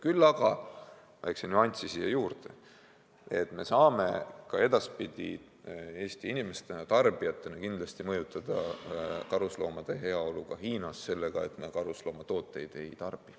Küll aga lisan väikese nüansina siia juurde, et me saame ka edaspidi Eesti inimestena, tarbijatena mõjutada karusloomade heaolu ka Hiinas sellega, et me karusnahatooteid ei tarbi.